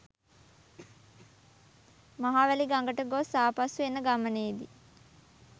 මහවැලි ගඟට ගොස් ආපසු එන ගමනේදී